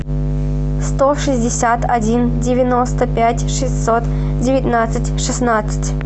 сто шестьдесят один девяносто пять шестьсот девятнадцать шестнадцать